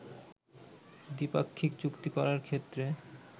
দ্বিপাক্ষিক চুক্তি করার ক্ষেত্রে